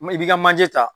M i b'i ka manje ta